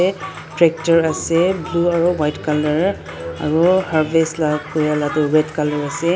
tractor ase blue aro white colour aro harvest la kura la ka toh red colour ase.